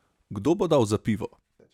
Kdo bo dal za pivo?